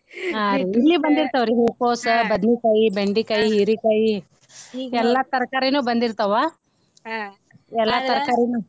ಹಾ ರಿ ಇಲ್ಲಿ ಬಂದಿರ್ತಾವರಿ ಹೂಕೋಸ , ಬದ್ನಿಕಾಯಿ, ಬೆಂಡಿಕಾಯಿ, ಹೀರಿಕಾಯಿ ಎಲ್ಲಾ ತರಕಾರಿನು ಬಂದಿರ್ತಾವ ಎಲ್ಲಾ ತರಕಾರಿನು.